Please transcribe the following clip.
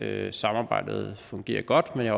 at samarbejdet fungerer godt men jeg